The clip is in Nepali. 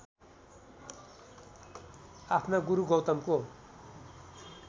आफ्ना गुरु गौतमको